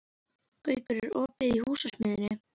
Gaukur, er opið í Húsasmiðjunni?